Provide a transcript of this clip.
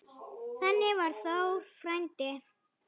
Þannig var Þór frændi.